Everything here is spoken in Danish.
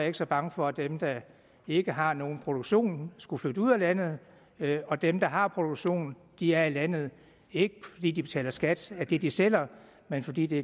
ikke så bange for at dem der ikke har nogen produktion skulle flytte ud af landet og dem der har produktion er i landet ikke fordi de betaler skat af det de sælger men fordi det